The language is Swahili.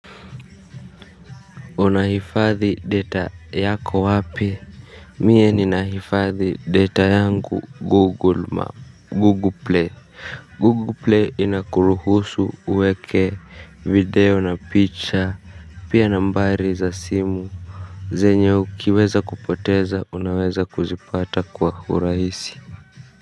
Unahifadhi data yako wapi? Mie ninahifadhi data yangu Google Map, Google Play. Google Play inakuruhusu uweke video na picha, pia nambari za simu zenye ukiweza kupoteza unaweza kuzipata kwa urahisi.